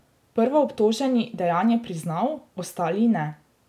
Prvoobtoženi dejanje priznal, ostali ne.